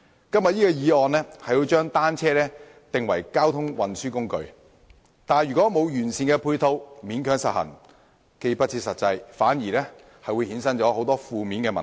今天這項議案提出將單車定為交通運輸工具，但如在欠缺完善配套的情況下勉強實行，不但不切實際，還會衍生出很多負面問題。